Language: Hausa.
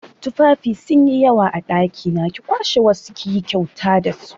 Tufafi sun yi yawa a ɗakina, ki kwashe wasu kiyi kyauta dasu